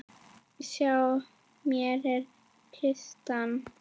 Sjá, hér er kistan.